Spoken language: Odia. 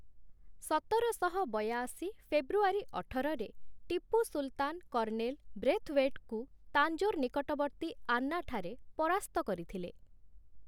ସତରଶହ ବୟାଅଶୀ ଫେବୃଆରୀ ଅଠରରେ ଟିପୁ ସୁଲତାନ କର୍ଣ୍ଣେଲ ବ୍ରେଥୱେଟଙ୍କୁ ତାଞ୍ଜୋର ନିକଟବର୍ତ୍ତୀ ଆନ୍ନା ଠାରେ ପରାସ୍ତ କରିଥିଲେ ।